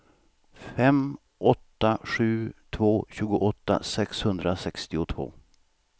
fem åtta sju två tjugoåtta sexhundrasextiotvå